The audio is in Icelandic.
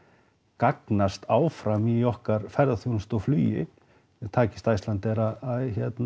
gagnast áfram í okkar ferðaþjónustu og flugi takist Icelandair að